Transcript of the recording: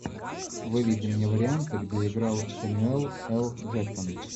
выведи мне варианты где играл сэмюэл л джексон